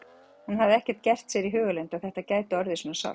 Hún hafði ekki gert sér í hugarlund að þetta gæti orðið svona sárt.